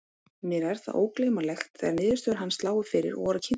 Mér er það ógleymanlegt þegar niðurstöður hans lágu fyrir og voru kynntar.